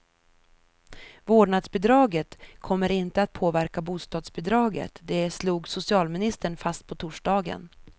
Vårdnadsbidraget kommer inte att påverka bostadsbidraget, det slog socialministern fast på torsdagen.